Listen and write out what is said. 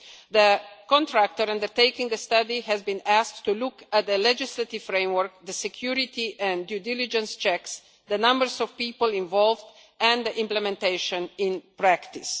The contractor undertaking the study has been asked to look at the legislative framework, the security and due diligence checks, the numbers of people involved and the schemes' implementation in practice.